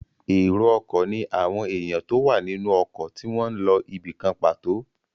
Èrò ọkọ̀ ní àwọn èèyàn tó wà nínú ọkọ̀ tí wọ́n n lọ ibìkan pàtó